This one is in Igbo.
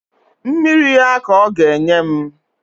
Mmiri ya ka ọ ga-enye m